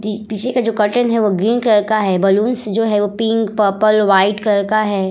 पीछे का जो कर्टेन है वो ग्रीन कलर का है। बलून्स जो है पिंक पर्पल वाइट कलर का है।